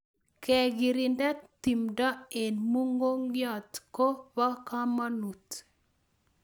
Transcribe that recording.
kekirinda tumdo eng mugongiot kopo kamanut